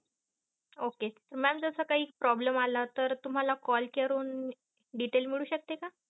okay. mam जस काही problem आला तर तुम्हाला call करून detail मिळू शकते का?